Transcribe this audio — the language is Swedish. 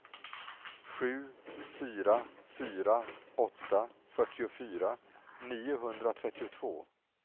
sju fyra fyra åtta fyrtiofyra niohundratrettiotvå